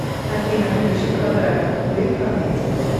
афина включи квадраты кубы фонетик